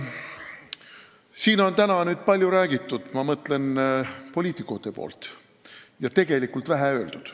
Siin on täna palju räägitud – ma mõtlen poliitikuid – ja tegelikult vähe öeldud.